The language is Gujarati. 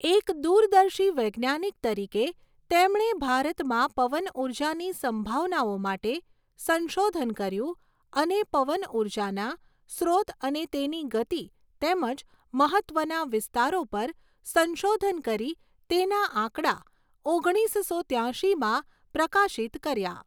એક દૂરદર્શી વૈજ્ઞાનિક તરીકે તેમણે ભારતમાં પવનઊર્જાની સંભાવનાઓ માટે સંશોધન કર્યું અને પવન ઊર્જાના સ્રોત અને તેની ગતિ તેમજ મહત્ત્વના વિસ્તારો પર સંશોધન કરી તેના આંકડા ઓગણીસસો ત્યાશીમાં પ્રકાશિત કર્યા.